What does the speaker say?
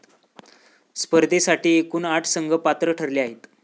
स्पर्धेसाठी एकून आठ संघ पात्र ठरले आहेत.